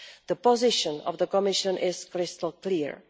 the position of the Commission is crystal clear.